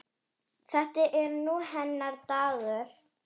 Þetta er nú hennar dagur.